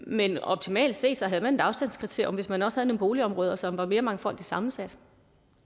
men optimalt set havde man et afstandskriterium hvis man også havde nogle boligområder som var mere mangfoldigt sammensat